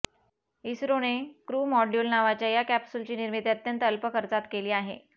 इस्त्रोने crew module नावाच्या या कॅप्सूलची निर्मिती अत्यंत अल्प खर्चात केली आहे